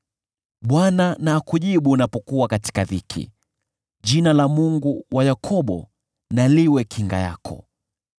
Bwana na akujibu unapokuwa katika dhiki, jina la Mungu wa Yakobo na liwe kinga yako.